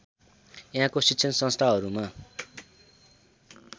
यहाँको शिक्षण संस्थाहरूमा